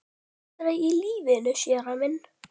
Aldrei í lífinu, séra minn.